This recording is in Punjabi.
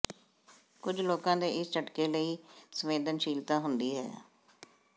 ਕੁਝ ਲੋਕਾਂ ਦੇ ਇਸ ਝਟਕੇ ਲਈ ਸੰਵੇਦਨਸ਼ੀਲਤਾ ਹੁੰਦੀ ਹੈ